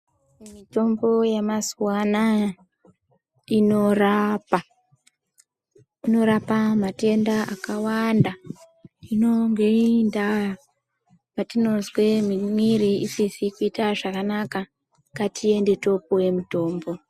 Mitombo yemazuwa anaya inorapa .Inorapa matenda akawanda .inonge indaa patinozwe muwiri isikazwi zvakanaka. Ngatiende topuwe mitombo.